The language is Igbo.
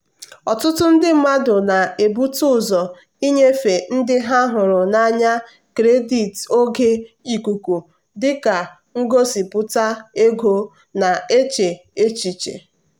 ọtụtụ ndị mmadụ na-ebute ụzọ ịnyefe ndị ha hụrụ n'anya kredit oge ikuku dị ka ngosipụta ego na-eche echiche.